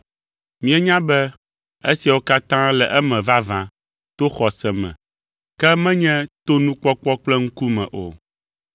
Míenya be esiawo katã le eme vavã to xɔse me, ke menye to nukpɔkpɔ kple ŋkume o.